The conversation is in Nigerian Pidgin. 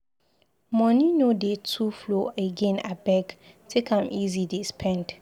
Moni no dey too flow again abeg take am easy dey spend.